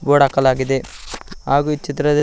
board ಹಾಕಲಾಗಿದೆ ಹಾಗು ಈ ಚಿತ್ರದಲ್ಲಿ--